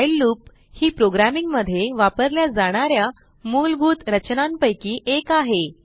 while loop ही programming मध्ये वापरल्या जाणा या मूलभूत रचनांपैकी एक आहे